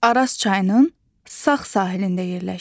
Araz çayının sağ sahilində yerləşir.